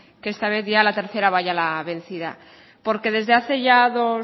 que esta vez a la tercera va la vencida porque desde hace ya dos